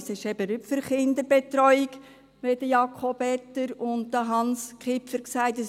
Es ist eben nicht für Kinderbetreuung, wie dies Jakob Etter und Hans Kipfer gesagt haben.